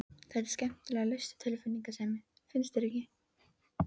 Þetta er skemmtilega laust við tilfinningasemi, finnst þér ekki?